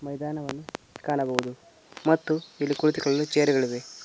ಮೈದಾನವನ್ನು ಕಾಣಬಹುದು ಮತ್ತು ಇಲ್ಲಿ ಕುಳಿತುಕೊಳ್ಳಲು ಚೈರು ಗಳಿವೆ.